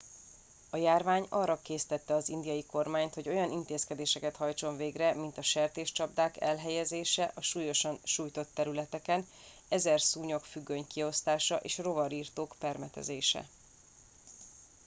a járvány arra késztette az indiai kormányt hogy olyan intézkedéseket hajtson végre mint a sertéscsapdák elhelyezése a súlyosan sújtott területeken ezer szúnyogfüggöny kiosztása és rovarirtók permetezése